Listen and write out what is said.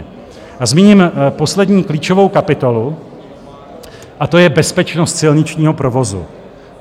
A zmíním poslední klíčovou kapitolu a to je bezpečnost silničního provozu.